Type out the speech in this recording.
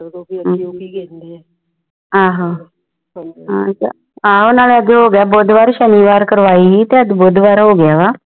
ਹਨ ਜੀ ਆਹੋ ਅਗੇ ਬੁੱਧਵਾਰ ਸ਼ਨੀਵਾਰ ਕਰਵਾਈ ਸੀ ਤੇ ਅਜ ਬੁਧਵਾਰ ਹੋ ਗਿਆ ਵਾ